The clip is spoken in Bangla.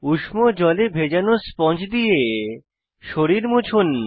উষ্ণ জলে ভেজানো স্পঞ্জ দিয়ে শরীর মুছুন